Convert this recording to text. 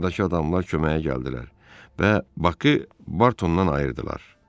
Bardakı adamlar köməyə gəldilər və Bakı Bartondan ayırdılar.